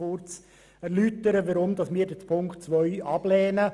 Nun möchte ich erläutern, weshalb wir Ziffer 2 ablehnen.